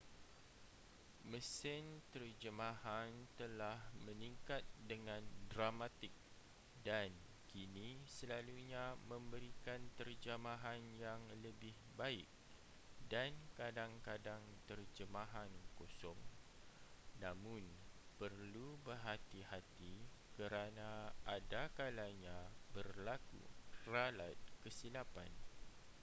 mesin terjemahan telah meningkat dengan dramatik dan kini selalunya memberikan terjemahan yang lebih baik dan kadang-kadang terjemahan kosong namun perlu berhati-hati kerana adakalanya berlaku ralat kesilapan